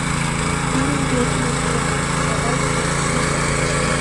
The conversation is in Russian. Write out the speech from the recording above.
фильм ведьма из блэр курсовая с того света включи мне